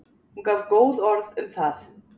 Hún gaf góð orð um það.